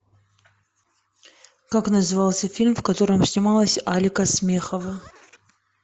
как назывался фильм в котором снималась алика смехова